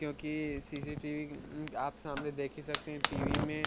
क्योकि सी_सी_टी_वी आप सामने देख ही सकते हे टी_वी में--